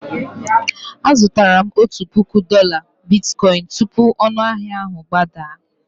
Azụtara m otu puku dola bitkoịn tupu ọnụahịa ahụ agbadaa.